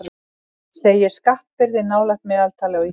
Segir skattbyrði nálægt meðaltali á Íslandi